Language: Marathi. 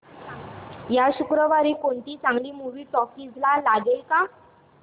या शुक्रवारी कोणती चांगली मूवी टॉकीझ ला लागेल का